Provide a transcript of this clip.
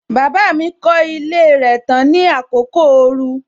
Baba mi kọ ilé rẹ tán ní àkókò ooru.